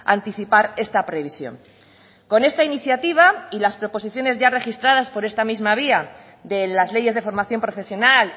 anticipar esta previsión con esta iniciativa y las proposiciones ya registradas por esta misma vía de las leyes de formación profesional